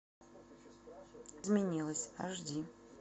изменилась аш ди